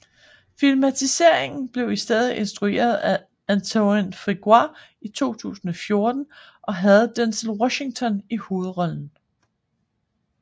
Filmatiseringen blev i stedet instrueret af Antoine Fuqua i 2014 og havde Denzel Washington i hovedrollen